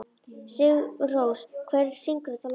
Sigurrós, hver syngur þetta lag?